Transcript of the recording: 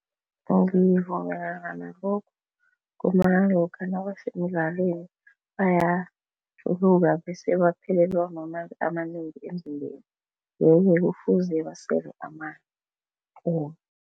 Ngivumelana nalokho ngombana lokha nabasemdlalweni bayajluka bese baphelelwa mamanzi amanengi emzimbeni yeke kufuze basele amanzi